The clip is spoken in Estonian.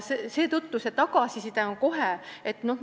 Seetõttu on see tagasiside olemas.